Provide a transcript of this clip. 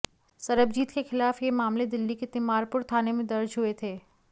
सरबजीत के खिलाफ ये मामले दिल्ली के तिमारपुर थाने में दर्ज हुए थे